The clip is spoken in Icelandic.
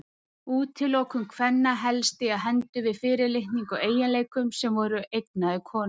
Útilokun kvenna hélst í hendur við fyrirlitningu á eiginleikum sem voru eignaðir konum.